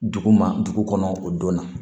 Dugu ma dugu kɔnɔ o don na